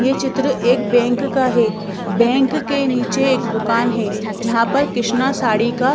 ये चित्र एक बैंक का है बैंक के नीचे एक दुकान है जहाँ पर कृष्णा साड़ी का--